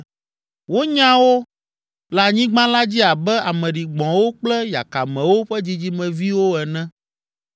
Wonya wo le anyigba la dzi abe ame ɖigbɔ̃wo kple yakamewo ƒe dzidzimeviwo ene.